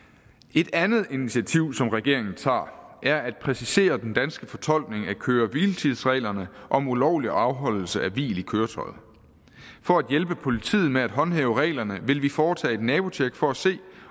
et andet initiativ som regeringen tager er at præcisere den danske fortolkning af køre hvile tids reglerne om ulovlig afholdelse af hvil i køretøjet for at hjælpe politiet med at håndhæve reglerne vil vi foretage et nabotjek for at se